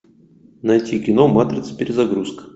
найти кино матрица перезагрузка